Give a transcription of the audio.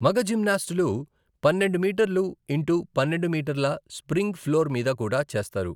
మగ జిమ్నాస్టులు పన్నెండు మీటర్లు ఇంటు పన్నెండు మీటర్ల స్ప్రింగ్ ఫ్లోర్ మీద కూడా చేస్తారు.